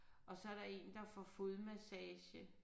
Og så er der en der får fodmassage